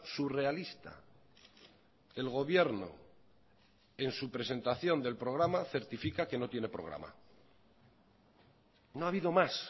surrealista el gobierno en su presentación del programa certifica que no tiene programa no ha habido más